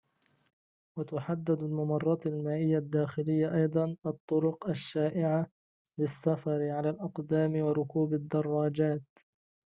وتحدد الممرات المائية الداخلية أيضاً الطرق الشائعة للسفر على الأقدام وركوب الدراجات